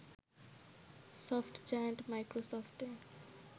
soft giant মাইক্রোসফটে